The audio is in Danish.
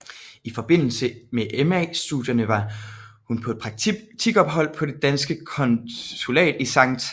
I forbindelse med MA studierne var hun på et praktikophold på det danske konsulat i Skt